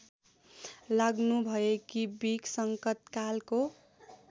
लाग्नुभएकी बिक संकटकालको